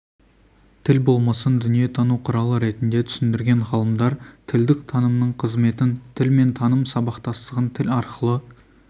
тіл болмысын дүниетану құралы ретінде түсіндірген ғалымдар тілдің танымдық қызметін тіл мен таным сабақтастығын тіл арқылы